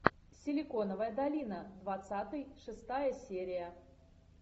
силиконовая долина двадцатый шестая серия